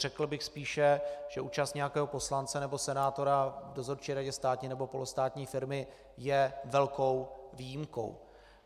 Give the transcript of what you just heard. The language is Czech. Řekl bych spíše, že účast nějakého poslance nebo senátora v dozorčí radě státní nebo polostátní firmy je velkou výjimkou.